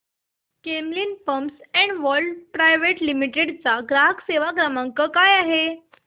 Camlin pumps and valves private limited चा ग्राहक सेवा क्रमांक काय आहे